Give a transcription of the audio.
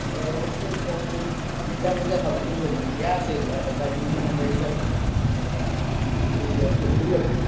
ଘରେ ବସି କଣ ଏଇ pizza ମିଜା ଖାଉଥିଲି ବୁଝିପାରୁଛ ନା gas ହେଇଯାଇଥିଲା ଯାଇଥିନୀ ମାନେ medical ଆସିଥିଲି ବୁଝି ପାରୁଚ୍ଛ ନା!